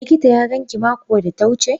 Likita ya ganki mako da ta wuce?